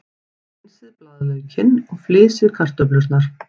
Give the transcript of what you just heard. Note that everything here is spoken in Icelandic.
Hreinsið blaðlaukinn og flysjið kartöflurnar.